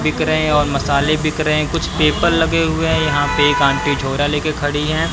बिक रहे और मसाले बिक रहे कुछ पेपर लगे हुए यहां पे एक आंटी झोरा लेके खड़ी है।